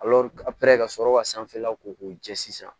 ka sɔrɔ ka sanfɛla ko k'u jɛ sisan